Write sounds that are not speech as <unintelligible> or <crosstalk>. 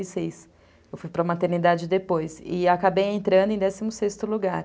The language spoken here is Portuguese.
<unintelligible> Eu fui para a maternidade depois e acabei entrando em décimo sexto lugar.